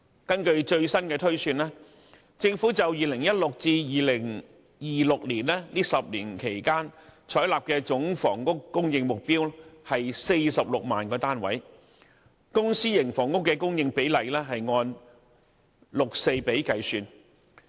根據最新的推算，政府就2016年至2026年這10年期採納的總房屋供應目標為46萬個單位，公、私營房屋的供應比例按六四比計算。